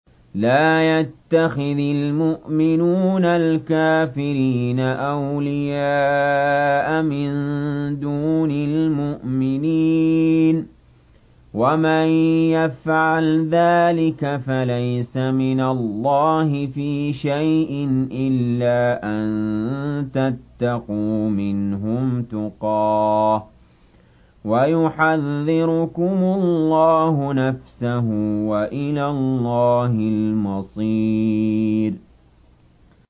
لَّا يَتَّخِذِ الْمُؤْمِنُونَ الْكَافِرِينَ أَوْلِيَاءَ مِن دُونِ الْمُؤْمِنِينَ ۖ وَمَن يَفْعَلْ ذَٰلِكَ فَلَيْسَ مِنَ اللَّهِ فِي شَيْءٍ إِلَّا أَن تَتَّقُوا مِنْهُمْ تُقَاةً ۗ وَيُحَذِّرُكُمُ اللَّهُ نَفْسَهُ ۗ وَإِلَى اللَّهِ الْمَصِيرُ